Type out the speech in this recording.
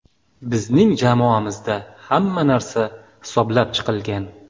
Bizning jamoamizda hamma narsa hisoblab chiqilgan.